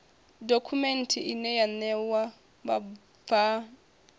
dokhumenthe ine ya ṋea vhabvann